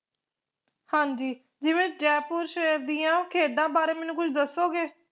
ਹਾਂਜੀ ਜਿਵੇ ਜੈਪੁਰ ਸ਼ਹਿਰ ਦੀਆ ਖੇਡਾਂ ਬਾਰੇ ਮੈਨੂੰ ਕੁਛ ਦਸੋਗੇ